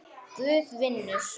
Guð vinnur.